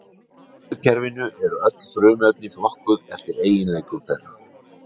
Í lotukerfinu eru öll frumefnin flokkuð eftir eiginleikum þeirra.